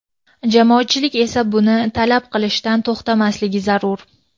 jamoatchilik esa buni talab qilishdan to‘xtamasligi zarur.